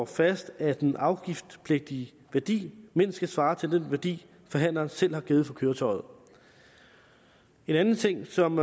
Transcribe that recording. fast at den afgiftspligtige værdi mindst skal svare til den værdi forhandleren selv har givet for køretøjet en anden ting som